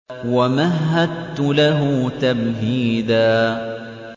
وَمَهَّدتُّ لَهُ تَمْهِيدًا